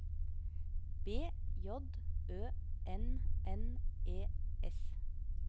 B J Ø N N E S